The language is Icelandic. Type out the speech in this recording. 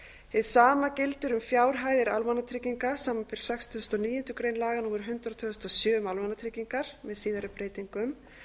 hið sama gildir um fjárhæðir almannatrygginga samanber sextugustu og níundu grein laga númer hundrað tvö þúsund og sjö um almannatryggingar með síðari breytingum